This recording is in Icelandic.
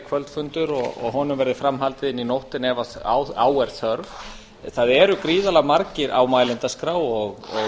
kvöldfundur og að honum verði fram haldið inn í nóttina ef á er þörf það eru gríðarlega margir á mælendaskrá og